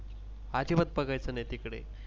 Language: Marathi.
अजिबात बघायच नाही तिकडे